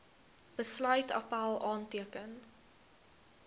besluit appèl aanteken